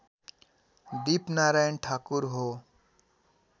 दिपनारायण ठाकुर हो